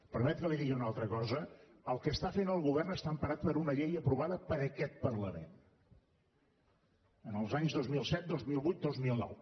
em permet que li digui una altra cosa el que fa el govern està emparat per una llei aprovada per aquest parlament en els anys dos mil set dos mil vuit i dos mil nou